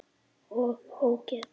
OG ÓGEÐ!